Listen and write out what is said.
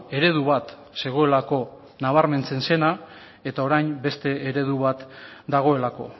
eredu bat zegoelako nabarmentzen zena eta orain beste eredu bat dagoelako